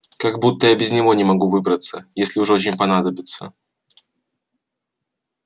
как будто я без него не могу выбраться если уж очень понадобится